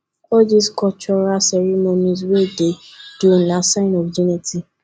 all dese cultural ceremonies we dey do na sign of unity